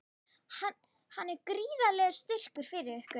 Hann er gríðarlegur styrkur fyrir ykkur?